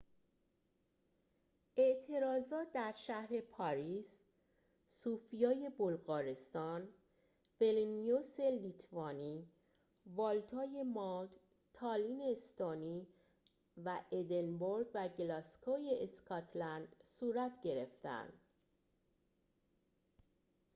اعتراضات در شهر پاریس صوفیای بلغارستان ویلنیوس لیتوانی والتای مالت تالین استونی و ادینبورگ و گلاسگوی اسکاتلند صورت گرفتند